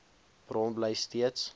bron bly steeds